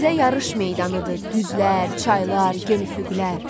Bizə yarış meydanıdır düzlər, çaylar, gen üfüqlər.